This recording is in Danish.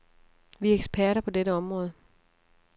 Vi er eksperter på dette område.